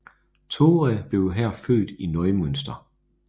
Touré blev her født i Neumünster